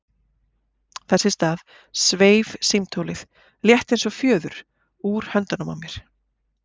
Þess í stað sveif símtólið, létt eins og fjöður, úr höndunum á mér.